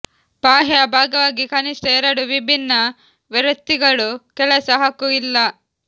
ಬಾಹ್ಯ ಭಾಗವಾಗಿ ಕನಿಷ್ಠ ಎರಡು ವಿಭಿನ್ನ ವೃತ್ತಿಗಳು ಕೆಲಸ ಹಕ್ಕು ಇಲ್ಲ